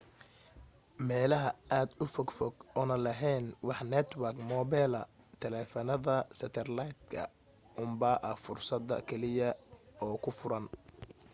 meelaha aad ufog fog oona laheyn wax network mobila taleefanada seterlaydka unbaa ah fursada kaliya oo kuu furan